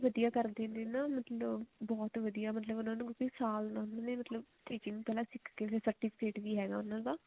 ਵਧੀਆ ਜਰਦੇ ਨੇ ਨਾ ਮਤਲਬ ਬਹੁਤ ਵਧੀਆ ਉਹਨਾ ਨੂੰ ਸਾਲ ਲੰਘ ਗੇ ਮਤਲਬ stitching ਸਿੱਖ ਕੇ ਮਤਲਬ certificate ਵੀ ਹੈਗਾ ਉਹਨਾ ਦਾ